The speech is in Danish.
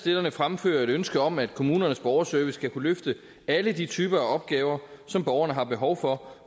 fremfører ønske om at kommunernes borgerservice skal kunne løfte alle de typer opgaver som borgerne har behov for